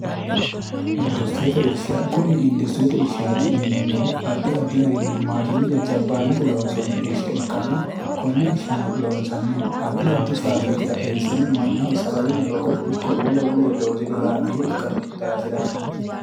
industiriyete irsha kuni industiriyete irshaati yineemmohu addi addi garinni maashinne jajjabbaannate loonsoonni irsha ikkanna konne irshano loonsannihu addi addi faabirikira eessine mannaho sagaleno loosate ikko wole wolire loosi'ri horaameeyye ikkanno daafiraati